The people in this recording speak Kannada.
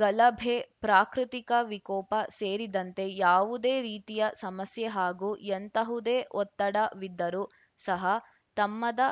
ಗಲಭೆ ಪ್ರಾಕೃತಿಕ ವಿಕೋಪ ಸೇರಿದಂತೆ ಯಾವುದೇ ರೀತಿಯ ಸಮಸ್ಯೆ ಹಾಗೂ ಎಂತಹುದೇ ಒತ್ತಡ ವಿದ್ದರು ಸಹ ತಮ್ಮದ